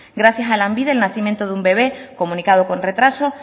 gracias a lanbide el nacimiento de un bebe comunicado con retraso